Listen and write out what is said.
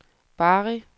Bari